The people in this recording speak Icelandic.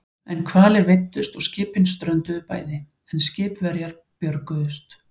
Engir hvalir veiddust og skipin strönduðu bæði, en skipverjar björguðust.